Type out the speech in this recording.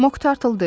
Moq Tartle dedi.